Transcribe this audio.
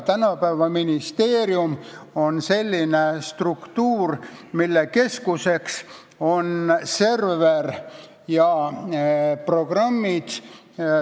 Tänapäeva ministeerium on selline struktuur, mille keskuseks on server ja arvutiprogrammid.